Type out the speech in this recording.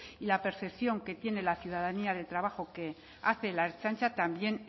y la percepción que tiene la ciudadanía del trabajo que hace la ertzaintza también